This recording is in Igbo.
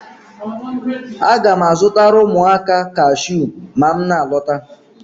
Aga m azụtara ụmụaka kashiu ma m na-alọta